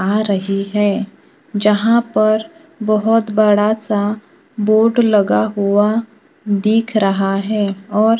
आ रही है जहां पर बहोत बड़ा सा बोर्ड लगा हुआ दिख रहा है और --